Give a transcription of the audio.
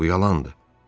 Bu yalandır.